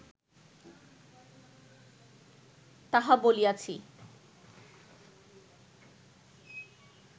তাহা বলিয়াছি